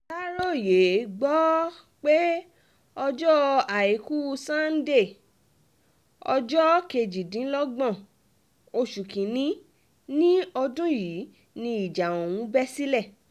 aláròye gbọ́ um pé ọjọ́ àìkú sannde ọjọ́ kejìdínlọ́gbọ̀n oṣù kín-ín-ní ọdún yìí ni ìjà ọ̀hún bẹ́ sílẹ̀ um